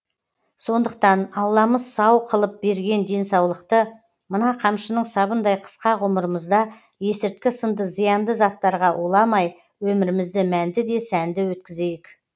сондықтан алламыз сау қылып берген денсаулықты мына қамшының сабындай қысқа ғұмырымызда есірткі сынды зиянды заттарға уламай өмірімізді мәнді де сәнді өткізейік